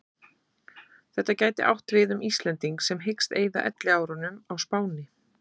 Þetta gæti átt við um Íslending sem hyggst eyða elliárunum á Spáni.